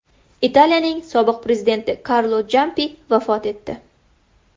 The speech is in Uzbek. Italiyaning sobiq prezidenti Karlo Champi vafot etdi.